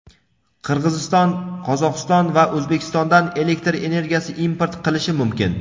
Qirg‘iziston Qozog‘iston va O‘zbekistondan elektr energiyasi import qilishi mumkin.